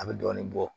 A bɛ dɔɔnin bɔ